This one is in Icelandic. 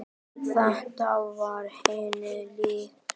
Þetta var henni líkt.